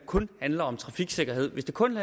kun handler om trafiksikkerhed hvis det kun